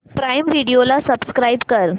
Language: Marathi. प्राईम व्हिडिओ ला सबस्क्राईब कर